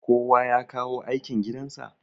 kowa ya kawo aikin gidansa?